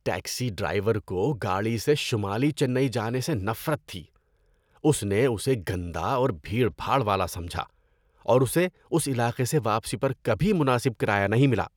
Taxi driver کو گاڑی سے شمالی چنئی جانے سے نفرت تھی۔ اس نے اسے گندا اور بھیڑ بھاڑ والا سمجھا، اور اسے اس علاقے سے واپسی پر کبھی مناسب کرایہ نہیں ملا۔